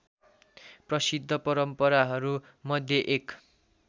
प्रसिद्ध परम्पराहरूमध्ये एक